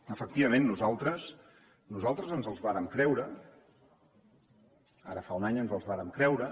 efectivament nosaltres ens els vàrem creure ara fa un any ens els vàrem creure